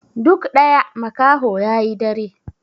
Duk ɗaya makaho ya yi dare.